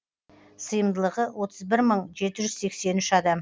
сыйымдылығы отыз бір мың жеті жүз сексен үш адам